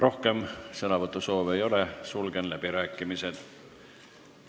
Rohkem sõnavõtusoove ei ole, sulgen läbirääkimised.